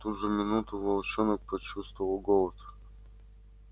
в ту же минуту волчонок почувствовал голод